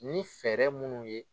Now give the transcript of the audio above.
Ni fɛɛrɛ minnu ye